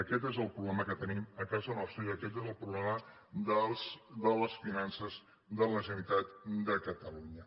aquest és el problema que tenim a casa nostra i aquest és el problema de les finances de la generalitat de ca·talunya